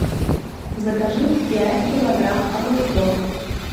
закажи пять килограмм огурцов